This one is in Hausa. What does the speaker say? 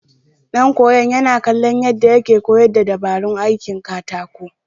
Ɗan koyon yana kallon yadda yake koyar da dabarun aikin katako.